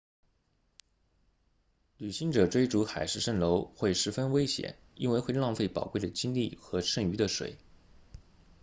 旅行者追逐海市蜃楼会十分危险因为会浪费宝贵的精力和剩余的水